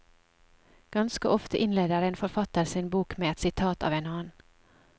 Ganske ofte innleder en forfatter sin bok med et sitat av en annen.